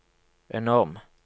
enorm